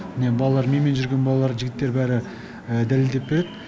міне балалар менімен жүрген балалар жігіттер бәрі дәлелдеп береді